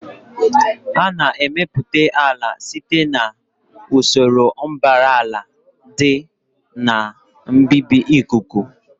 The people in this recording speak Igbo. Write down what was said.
A na-emepụta ala site na usoro mbara àlà la dị ka mbibi ikuku